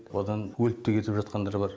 одан өліп те кетіп жатқандар бар